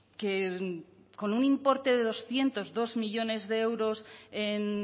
que con un importe de doscientos dos millónes de euros en